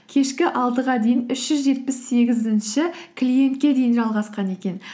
кешкі алтыға дейін үш жүз жетпіс сегізінші клиентке дейін жалғасқан екен